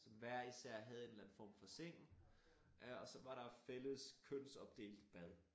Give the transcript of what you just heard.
Som hver især havde en eller anden form for seng og så var der fællles kønsopdelt bad